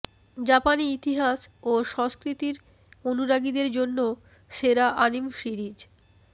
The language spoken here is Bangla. জাপানি ইতিহাস ও সংস্কৃতির অনুরাগীদের জন্য সেরা আনিম সিরিজ